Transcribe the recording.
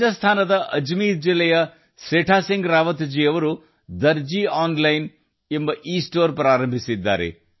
ರಾಜಸ್ಥಾನದ ಅಜ್ಮೀರ್ ಜಿಲ್ಲೆಯ ಸೇಥಾ ಸಿಂಗ್ ರಾವತ್ ಜೀ ಅವರು ದರ್ಜಿ ಆನ್ಲೈನ್ ಇಸ್ಟೋರ್ ನಡೆಸುತ್ತಿದ್ದಾರೆ